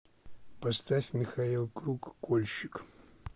поставь михаил круг кольщик